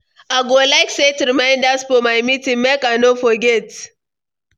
I go like set reminders for my meetings; make I no forget.